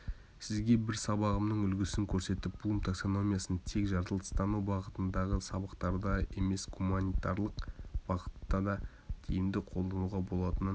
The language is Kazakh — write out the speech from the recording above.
сізге бір сабағымның үлгісін көрсетіп блум таксономиясын тек жаратылыстану бағытындағы сабақтарда емес гуанитарлық бағыттада тиімді қолдануға болатынын